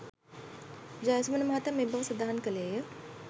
ජයසුමන මහතා මේ බව සදහන් කළේය.